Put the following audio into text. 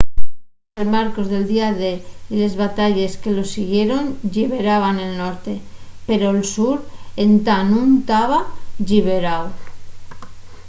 los desembarcos del día d y les batalles que los siguieron lliberaran el norte pero'l sur entá nun taba lliberáu